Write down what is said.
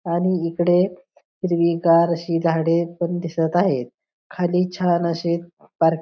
आणि इकडे हिरवीगार अशी झाडे पण दिसत आहेत खाली छान अशे पार्क --